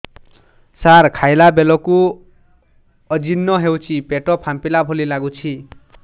ସାର ଖାଇଲା ବେଳକୁ ଅଜିର୍ଣ ହେଉଛି ପେଟ ଫାମ୍ପିଲା ଭଳି ଲଗୁଛି